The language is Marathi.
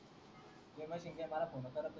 मला फोन नी करत